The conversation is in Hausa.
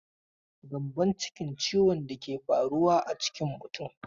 Gyambonciki ciwon da ke faruwa a cikin mutum.